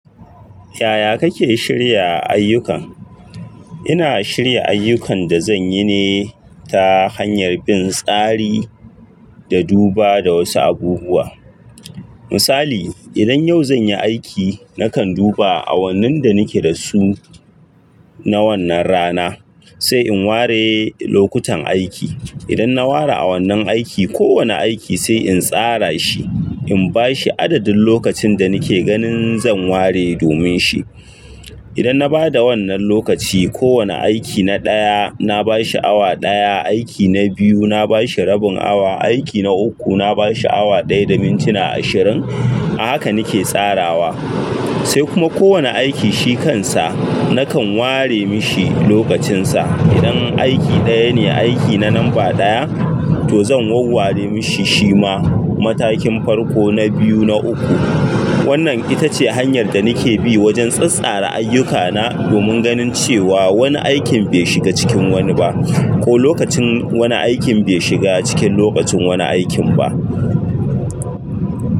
Yaya kake shirya ayyukan? Ina shirya ayyukan da zan yi ne ta hanyar bin tsari da duba da wasu abubuwa. Misali, idan yau zan yi aiki, nakan duba awannin da nake da su na wannan rana sai in ware lokutan aiki. Idan na ware awannin aiki, kowane aiki sai in tsara shi, in ba shi adadin lokacin da nake ganin zan ware domin shi. Idan na ba da wannan lokaci, kowane aiki na ɗaya na ba shi awa ɗaya, aiki na biyu na ba shi rabin awa, aiki na uku na ba shi awa ɗaya da mintuna ashirin. A haka nake tsarawa. Sai kuma kowane aiki shi kansa nakan ware mishi lokacinsa. Idan aiki ɗaya ne, aiki na lamba ɗaya to zan warware mashi shi ma matakin farko, na biyu, na uku. Wannan ita ce hanyar da nake bi wajen tsatstsara ayyukana domin ganin cewa wani aikin bai shiga cikin wani ba ko lokacin wani aikin bai shiga cikin lokacin wani aikin ba.